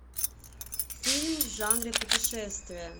фильм в жанре путешествие